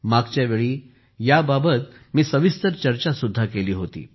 मागच्या वेळी मी याबाबत सविस्तर चर्चा सुद्धा केली होती